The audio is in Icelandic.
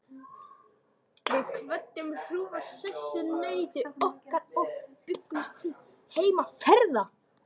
Við kvöddum hrjúfa sessunautinn okkar og bjuggumst til heimferðar.